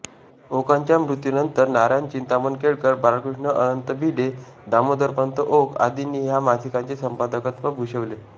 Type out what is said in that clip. ओकांच्या मृत्यूनंतर नारायण चिंतामण केळकर बाळकृष्ण अनंत भिडे दामोदरपंत ओक आदींनी ह्या मासिकाचे संपादकत्व भूषवले